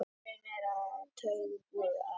Eitthvað reynir á taugarnar